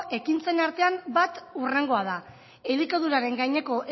ekintzen artean bat hurrengoa da elikaduraren gaineko